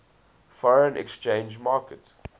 foreign exchange market